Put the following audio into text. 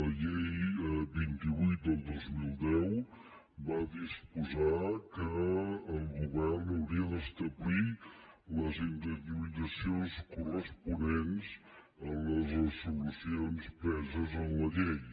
la llei vint vuit dos mil deu va disposar que el govern hauria d’establir les indemnitzacions corresponents a les resolucions preses en la llei